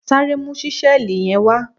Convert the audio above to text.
Sáré mu ṣísẹ́ẹ̀lì yẹn wá!